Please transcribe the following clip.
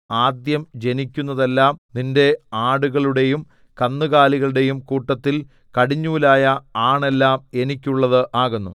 ആദ്യം ജനിക്കുന്നതെല്ലാം നിന്റെ ആടുകളുടെയും കന്നുകാലികളുടെയും കൂട്ടത്തിൽ കടിഞ്ഞൂലായ ആൺ എല്ലാം എനിക്കുള്ളത് ആകുന്നു